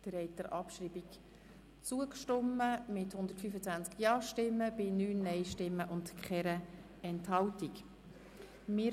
Sie haben der Abschreibung mit 125 Ja- gegen 9 Nein-Stimmen bei 0 Enthaltungen zugestimmt.